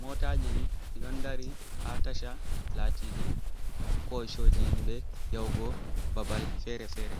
motaji ɗi ɗi don dari ha tasha, latiɗi kosoji himɓe yahugo babal fere-fere.